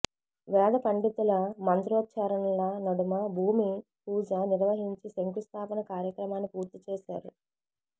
వేద పండితుల మంత్రోచ్చారణల నడుమ భూమి పూజ నిర్వహించి శంకుస్థాపన కార్యక్రమాన్ని పూర్తి చేశారు